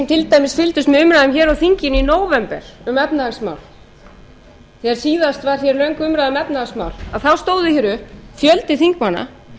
dæmis þeir sem fylgdust með umræðum á þinginu í nóvember um efnahagsmál þegar síðast var rætt um efnahagsmál að þá stóð upp fjöldi þingmanna